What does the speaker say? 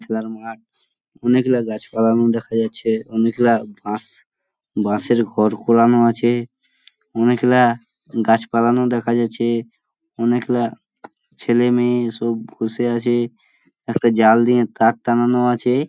খেলার মাঠ অনেক গুলা গাছপালানো দেখা যাচ্ছে | অনেক গুলা বাঁস বাঁশের ঘর করানো আছে | অনেক গুলা গাছপালানো দেখা যাচ্ছে | অনেক গুলা ছেলে মেয়ে সব বসে আছে একটাজাল দিয়ে তার টাঙানো আছে।